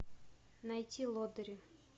найти лодыри